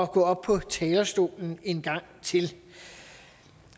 gå op på talerstolen en gang til